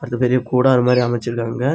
அங்க பெரிய கூடார மாதிரி அமெச்சிருக்காங்க.